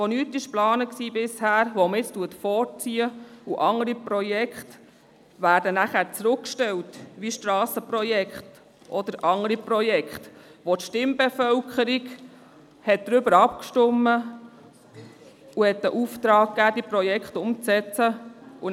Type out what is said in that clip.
Bisher war nichts geplant, das man nun vorzieht, während andere Projekte zurückgestellt werden, wie etwa Strassenprojekte oder andere Projekte, über die die Stimmbevölkerung abgestimmt und den Auftrag zu deren Umsetzung gegeben hat.